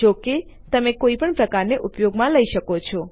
જોકે તમે કોઇ પણ પ્રકારને ઉપયોગમાં લઇ શકો છો